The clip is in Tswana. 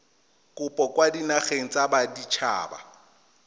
kopo kwa dinageng tsa baditshaba